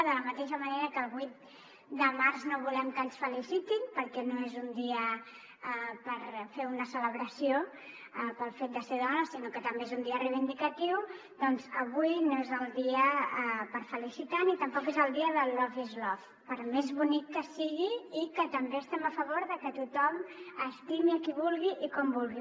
de la mateixa manera que el vuit de març no volem que ens felicitin perquè no és un dia per fer una celebració pel fet de ser dona sinó que també és un dia reivindicatiu avui no és el dia per felicitar ni tampoc és el dia del love is love per més bonic que sigui i que també estiguem a favor de que tothom estimi qui vulgui i com vulgui